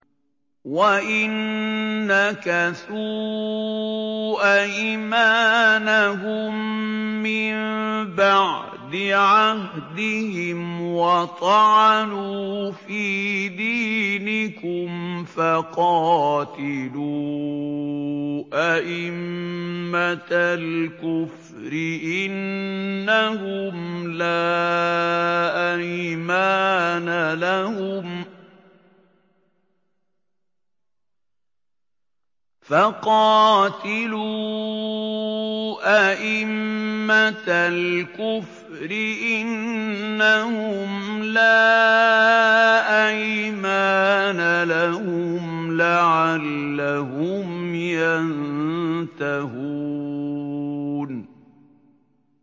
وَإِن نَّكَثُوا أَيْمَانَهُم مِّن بَعْدِ عَهْدِهِمْ وَطَعَنُوا فِي دِينِكُمْ فَقَاتِلُوا أَئِمَّةَ الْكُفْرِ ۙ إِنَّهُمْ لَا أَيْمَانَ لَهُمْ لَعَلَّهُمْ يَنتَهُونَ